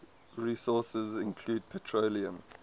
resources include petroleum